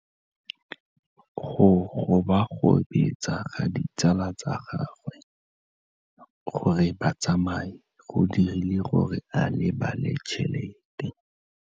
Go gobagobetsa ga ditsala tsa gagwe, gore ba tsamaye go dirile gore a lebale tšhelete.